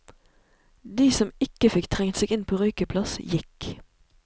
De som ikke fikk trengt seg inn på røykeplass, gikk.